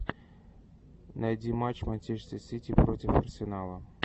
найти матч манчестер сити против арсенала